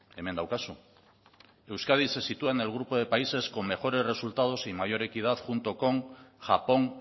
hemen daukazu euskadi se sitúa en el grupo de países con mejores resultados y mayor equidad junto con japón